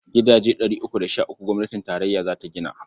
Gidaje ɗari uku da sh uku gwamnatin tarayya za ta gina.